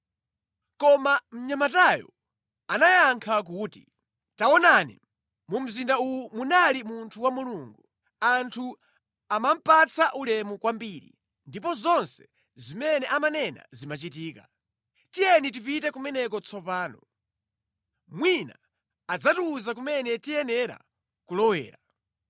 Koma mnyamatayo anayankha kuti, “Taonani, mu mzinda uwo muli munthu wa Mulungu. Anthu amamupatsa ulemu kwambiri, ndipo zonse zimene amanena zimachitika. Tiyeni tipite kumeneko tsopano. Mwina adzatiwuza kumene tiyenera kulowera.”